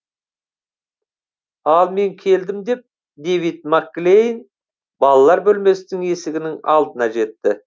ал мен келдім деп дэвид макклейн балалар бөлмесінің есігінің алдына жетті